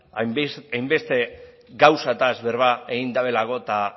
hainbeste gauzaz berba egin duelako eta